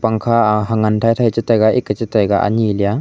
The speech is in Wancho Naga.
pakha hangan dadai chata taiga ane leya.